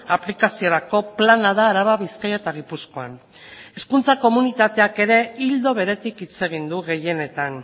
aplikaziorako plana da araba bizkaia eta gipuzkoan hezkuntza komunitateak ere ildo beretik hitz egin du gehienetan